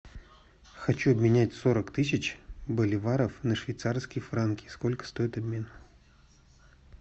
хочу обменять сорок тысяч боливаров на швейцарские франки сколько стоит обмен